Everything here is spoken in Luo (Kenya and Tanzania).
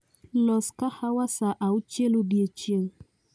Los kahawa saa auchiel odiechieng